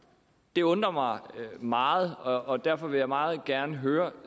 det undrer mig meget og og derfor vil jeg meget gerne høre